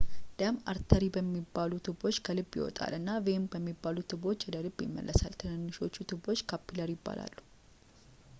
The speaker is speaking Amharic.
ደም አርተሪ በሚባሉ ትቦዎች ከልብ ይወጣል እና ቬን በሚባሉ ትቦዎች ወደ ልብ ይመለሳል ትንንሾቹ ትቦዎች ካፒላሪ ይባላሉ